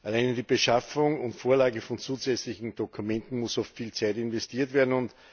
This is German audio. Alleine in die Beschaffung und Vorlage von zusätzlichen Dokumenten muss oft viel Zeit investiert werden.